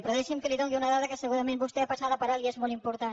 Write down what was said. però deixi’m que li doni una dada que segurament vostè ha passada per alt i és molt important